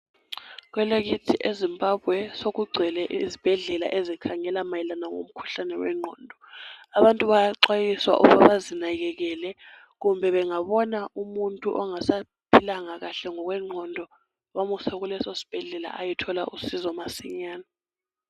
Kwelakithi eZimbabwe sokugcwele izibhedlela ezikhangela mayelana ngomkhuhlane wengqondo. Abantu bayaxwayiswa ukuba bazinakekele kumbe bengabona umuntu ongasaphilanga kahle ngokwengqondo bamuse kuleso sibhedlela ayethola usizo masinyane.